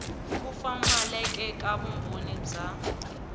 ku pfumaleka ka vumbhoni bya